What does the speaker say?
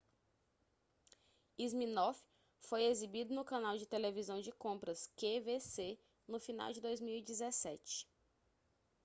siminoff foi exibido no canal de televisão de compras qvc no final de 2017